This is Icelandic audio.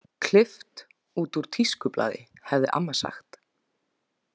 Klippt út úr tískublaði, hefði amma sagt.